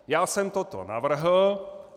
Já jsem toto navrhl.